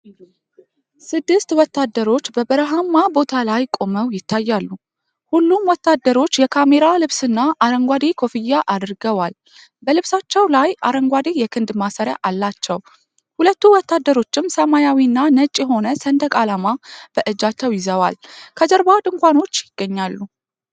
ስድስት ወታደሮች በበረሃማ ቦታ ላይ ቆመው ይታያሉ። ሁሉም ወታደሮች የካሜራ ልብስና አረንጓዴ ኮፍያ አድርገዋል። በልብሳቸው ላይ አረንጓዴ የክንድ ማሰሪያ አላቸው፤ ሁለት ወታደሮችም ሰማያዊና ነጭ የሆነ ሰንደቅ ዓላማ በእጃቸው ይዘዋል። ከጀርባ ድንኳኖች ይገኛሉ።